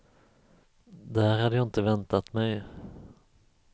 Det här hade jag inte väntat mig.